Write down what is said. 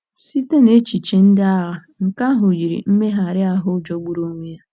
Site nechiche ndị agha, nke ahụ yiri mmegharị ahụ jọgburu onwe ya.